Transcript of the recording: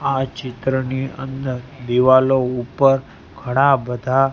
આ ચિત્રની અંદર દીવાલો ઉપર ઘણા બધા--